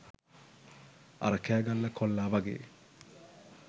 අර කෑගල්ල කොල්ලා වගේ